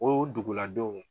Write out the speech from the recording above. O duguladenw